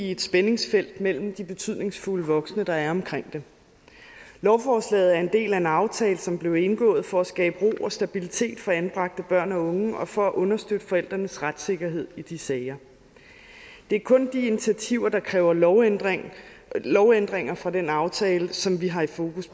i et spændingsfelt mellem de betydningsfulde voksne der er omkring dem lovforslaget er en del af en aftale som blev indgået for at skabe ro og stabilitet for anbragte børn og unge og for at understøtte forældrenes retssikkerhed i de sager det er kun de initiativer der kræver lovændringer lovændringer fra den aftale som vi har fokus